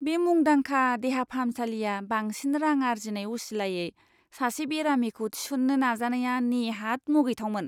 बे मुंदांखा देहा फाहामसालिया बांसिन रां आर्जिनाय असिलायै सासे बेरामिखौ थिसननो नाजानाया नेहात मुगैथावमोन!